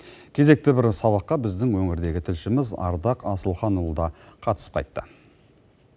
кезектегі бір сабаққа біздің өңірдегі тілшіміз ардақ асылханұлы да қатысып кайтты